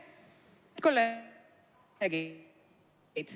Head kolleegid!